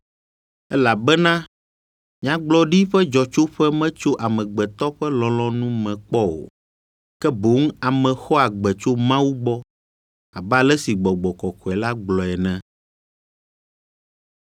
Elabena nyagblɔɖi ƒe dzɔtsoƒe metso amegbetɔ ƒe lɔlɔ̃nu me kpɔ o, ke boŋ ame xɔa gbe tso Mawu gbɔ abe ale si Gbɔgbɔ Kɔkɔe la gblɔe ene.